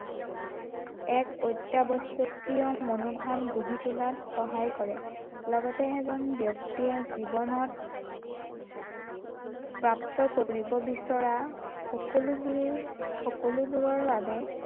এক অত্য়াৱশ্য়কীয় মনোভাৱ গঢ়ি তোলাত সহায় কৰে লগতে এজন ব্য়ক্তিয়ে জীৱনত প্ৰাপ্ত কৰিব বিচৰা সকলোবোৰ সকলোবোৰৰ বাবে